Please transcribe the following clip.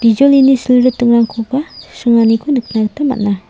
bijolini silritingrangkoba sringaniko nikna gita man·a.